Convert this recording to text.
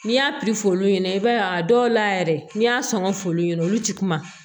N'i y'a pifuɲɛnɛ i b'a ye a dɔw la yɛrɛ n'i y'a sɔn ka f'olu ɲɛna olu ti kuma